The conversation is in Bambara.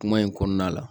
Kuma in kɔnɔna la